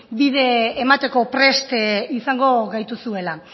bide emateko prest izango gaituzuela